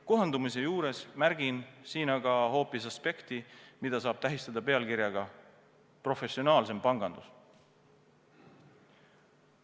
Kohandumise puhul märgin siin aga hoopis aspekti, mida saab tähistada pealkirjaga "Professionaalsem pangandus".